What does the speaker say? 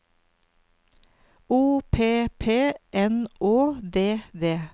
O P P N Å D D